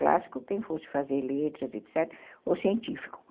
Clássico, quem fosse fazer letras, etc., ou científico.